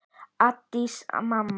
Ásdís mamma.